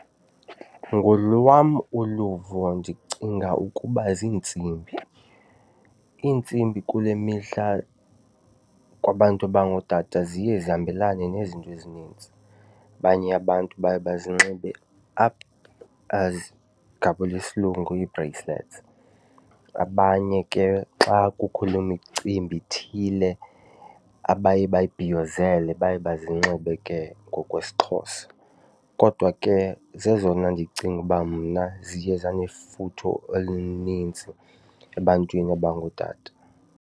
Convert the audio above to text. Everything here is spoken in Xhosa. Ngolwam uluvo ndicinga ukuba ziintsimbi. Iintsimbi kule mihla kwabantu abangootata ziye zihambelane nezinto ezinintsi. Abanye abantu baye bazinxibe up as ngabula isilungu ii-bracelets, abanye ke xa kukho imicimbi ithile abaye bayibhiyozele baye bazinxibe ke ngokwesiXhosa. Kodwa ke zezona ndicinga uba mna ziye zanefuthe elinintsi ebantwini abangootata.